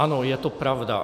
Ano, je to pravda.